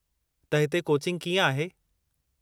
त हिते कोचिंग कीअं आहे ?